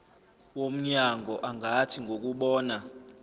womnyango angathi ngokubona